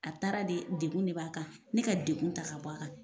A taara de degun de b'a kan ni ka degkun ta ka bɔ a kan.